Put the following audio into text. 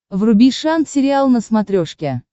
вруби шант сериал на смотрешке